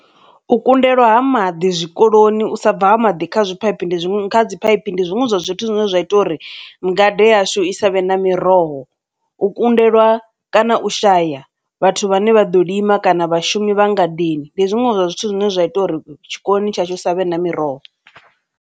U kundelwa ha maḓi zwikoloni u sa bva ha maḓi kha zwipaipi ndi kha dzi phaiphi ndi zwiṅwe zwa zwithu zwine zwa ita uri ngade yashu i savhe na miroho, u kundelwa kana u shaya vhathu vhane vha ḓo lima kana vhashumi vha ngadeni, ndi zwiṅwe zwa zwithu zwine zwa ita uri tshikoloni tshashu ri savhe na miroho.